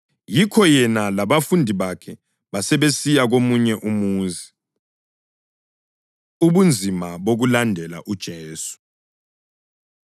Yikho yena labafundi bakhe basebesiya komunye umuzi. Ubunzima Bokulandela UJesu